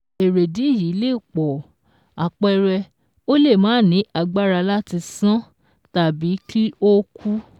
Èrèdìí yìí lè pọ̀ àpẹẹrẹ ó le màa ní agbára láti sán tàbí kí ó kú